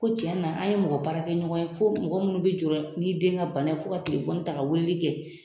Ko tiɲɛ na an ye mɔgɔ baarakɛ ɲɔgɔn ye, ko mɔgɔ minnu bɛ jɔrɔ ni den ka bana ye fo ka telefɔni ta ka weleli kɛ!